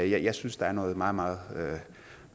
jeg synes der er noget meget meget